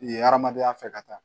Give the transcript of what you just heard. Ye hadamadenya fɛ ka taa